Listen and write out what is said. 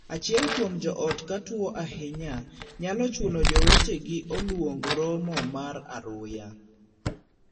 Achiel kuom joot ka tuo ahinya nyalo chuno jowetege oluong romo mar aruya.